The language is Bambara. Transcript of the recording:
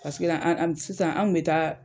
Paseke la an sisan an bɛ taa.